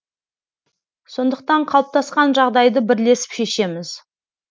сондықтан қалыптасқан жағдайды бірлесіп шешеміз